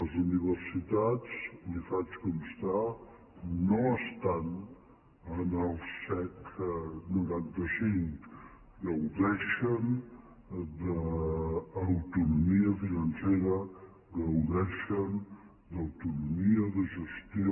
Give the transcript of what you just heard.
les universitats li ho faig constar no estan en el sec noranta cinc gaudeixen d’autonomia financera gaudeixen d’autonomia de gestió